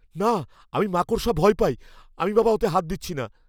না! আমি মাকড়সায় ভয় পাই। আমি বাবা ওতে হাত দিচ্ছি না।